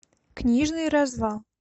книжный развал